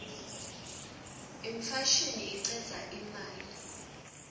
imfashini icedza imali